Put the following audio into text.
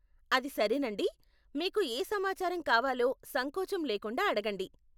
అది సరేనండి, మీకు ఏ సమాచారం కావాలో సంకోచం లేకుండా అడగండి.